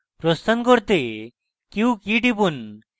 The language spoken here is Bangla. প্রস্থান করতে q key টিপুন